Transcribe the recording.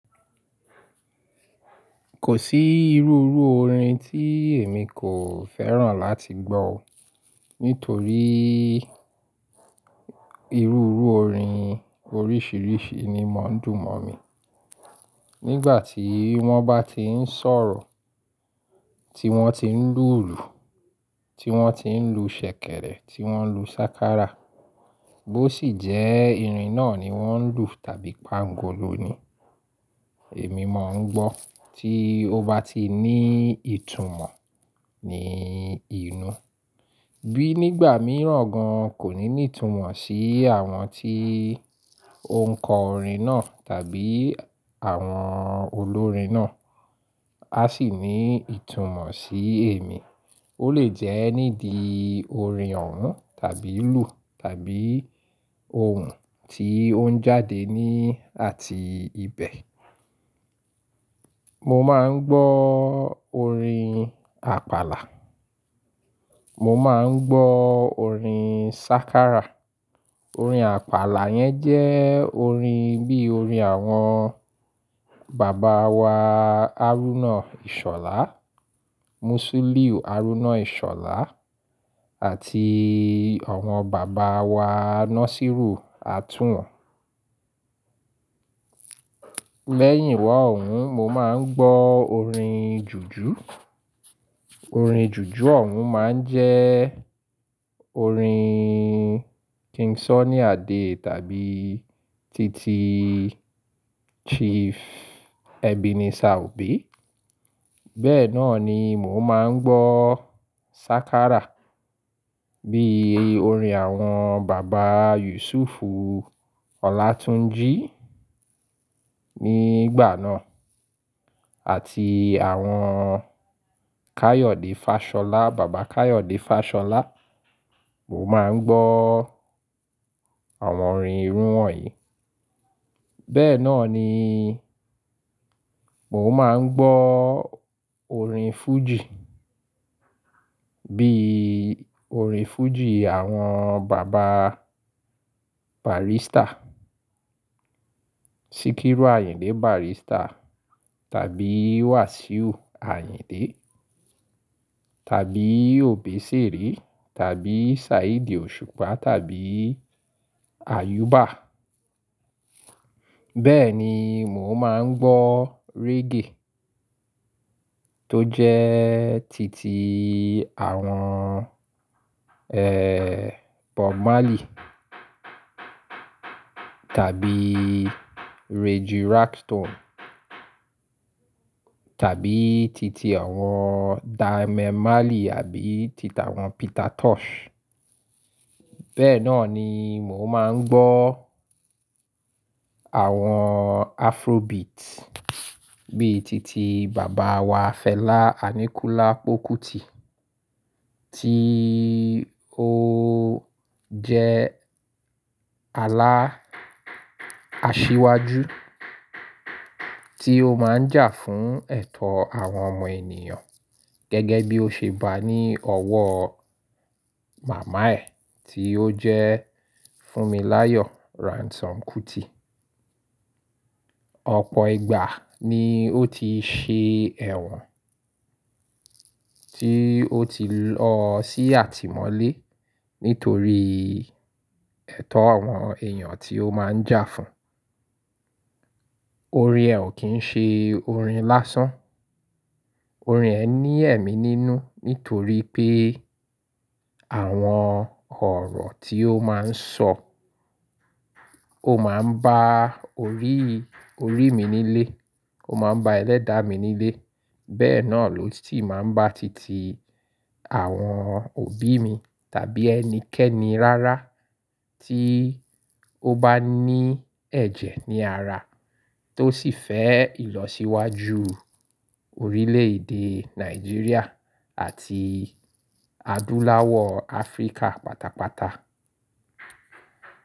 Kò sí irú irú orin tí èmi kò fẹ́ràn láti gbọ́, nítorí irú irú orin oríṣìíríṣìí ni mò ń dùn mọ́ mi. Nígbà tí wọ́n bá ti ń sọ̀rọ̀, tí wọ́n ti ń lùlù, tí wọ́n ti ń lu ṣẹ̀kẹ̀rẹ̀, tí wọ́n lu sákárà, bó sì jẹ́ irin náà ni wọ́n ń lù tàbí pángolo ni, èmi mò ń gbọ́ tí ó bá ti ní ìtumọ̀ ní inú. Bí nígbà mìíràn gan kò ní ní ìtumọ̀ sí àwọn tí ó ń kọ orin náà tàbí àwọn olórin náà, a sì ní ìtumọ̀ sí èmi. Ó lè jẹ́ nídìí orin òun tàbí lù tàbí ohùn tí ó ń jáde ní àti ibẹ̀. Mo máa ń gbọ́ orin àpàlà, mo máa ń gbọ́ orin sákárà. Orin àpàlà yẹn jẹ́ orin bí orin àwọn bàbá wa Arúnnà Ìṣọ̀lá, Mùsùlíù Arúnnà Ìṣọ̀lá àti àwọn bàbá wa Nasíìrù Àtùwọn. Lẹ́yìn wá òun, mo máa ń gbọ́ orin jùjú. Orin jùjú òun máa ń jẹ́ orin King Sunny Adé tàbí títí Chief Ebenezer Obey. Bẹ́ẹ̀ náà ni mò ń máa ń gbọ́ sákárà bí orin àwọn bàbá Yùsùùfù Ọlátúnjí nígbà náà àti àwọn Káyọ̀dé Fáṣọlá, bàbá Káyọ̀dé Fáṣọlá. Mo máa ń gbọ́ àwọn orin irú wọ̀nyí. Bẹ́ẹ̀ náà ni mò ń máa ń gbọ́ orin fújì bí orin fújì àwọn bàbá Barrister, Síkírù Àyìndé Barrister tàbí Wasiu Àyìndé tàbí Obesere tàbí Saheed Òṣùpá tàbí Ayuba. Bẹ́ẹ̀ ni mò ń máa ń gbọ́ reggae tó jẹ́ títí àwọn, ẹ́ẹ́, Bob Marley tàbí Reggie Rockstone tàbí títí àwọn Damian Marley àbí títí àwọn Peter Tosh. Bẹ́ẹ̀ náà ni mò ń máa ń gbọ́ àwọn Afrobeat bí i títí bàbá wa Fela Aníkúlápó Kútì tí ó jẹ́ alá asiwaju tí ó máa ń jà fún ẹ̀tọ́ àwọn ọmọ ènìyàn gẹ́gẹ́ bí ó ṣe bá ní ọwọ́ màmá ẹ tí ó jẹ́ Fúnmiláyọ̀ Ransome Kútì. Ọ̀pọ̀ ìgbà ni ó ti ṣe ẹ̀wọ̀n tí ó ti lọ sí àtìmọ́lé nítorí ẹ̀tọ́ àwọn èèyàn tí ó máa ń jà fún. Orin ẹ̀ ò kí ń ṣe orin lásán. Orin ẹ̀ ní ẹ̀mí nínú nítorí pé àwọn ọ̀rọ̀ tí ó máa ń sọ, ó máa ń bá orí, orí mi nílé, ó máa ń ba ẹlẹ́dàá mi nílé. Bẹ́ẹ̀ náà ló ti máa ń bá títí àwọn òbí mi tàbí ẹnikẹ́ni rárá tí ó bá ní ẹ̀jẹ̀ ní ara tó sì fẹ́ ìlọsíwájú orílẹ̀-èdè Nàìjíríà àti adúláwọ̀ Áfríkà pátápátá.